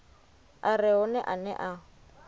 a re hone ane a